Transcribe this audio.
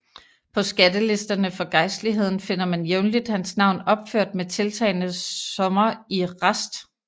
På skattelisterne for gejstligheden finder man jævnligt hans navn opført med tiltagende summer i rest